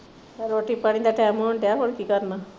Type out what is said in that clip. ਰੋਟੀ ਪਾਣੀ ਦਾ ਟਾਈਮ ਹੋਣ ਡਇਆ ਹੋਰ ਕੀ ਕਰਨਾ।